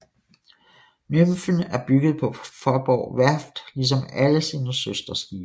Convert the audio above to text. Nymfen er bygget på Faaborg Værft ligesom alle sine søsterskibe